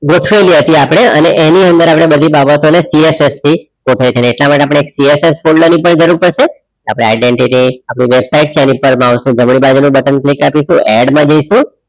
આપડે અને એની અંદર બધી બાબતો ને CSS થી એટલે માટે આપડે CSS ફોલ્ડર ની પણ જરૂર પડસે આપડે identity અપડી વેબસાઇટ છે આની ઉપપર માઉસ નું જમણી બાજુ નું બટન click અપિસું add માં જઇસુ